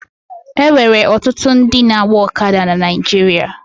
E nwere ọtụtụ ndị na-agba ọkada na Naịjirịa